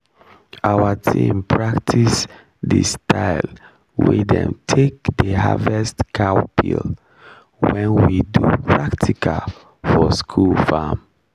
our team practice the style wey dem take dey harvest cowpeal when we do practical for school farm